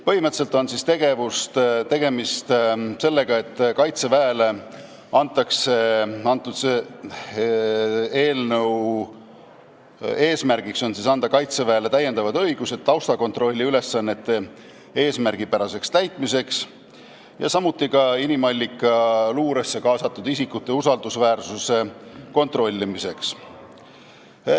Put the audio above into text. Põhimõtteliselt on eelnõu eesmärk anda Kaitseväele lisaõigused taustakontrolli ülesande eesmärgipäraseks täitmiseks ja samuti inimallikaluuresse kaasatud isikute usaldusväärsuse kontrollimiseks.